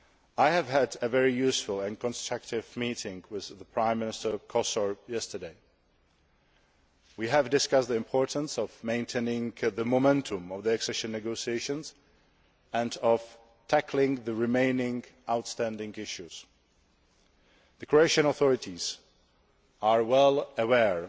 I had a very useful and constructive meeting with Prime Minister Kosor yesterday. We discussed the importance of maintaining the momentum of the accession negotiations and of tackling the remaining outstanding issues. The Croatian authorities are well